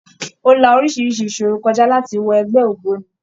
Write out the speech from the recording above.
Ó la orísirísi ìṣòro kọ já láti wọ ẹgbẹ́ ògbóni.